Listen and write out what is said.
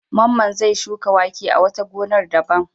Mamman zai shuka wake a wata gonar daban.